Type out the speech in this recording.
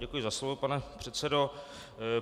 Děkuji za slovo, pane předsedo.